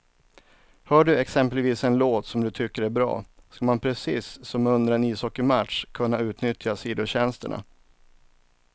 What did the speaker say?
Hör du exempelvis en låt som du tycker är bra, ska man precis som under en ishockeymatch kunna utnyttja sidotjänsterna.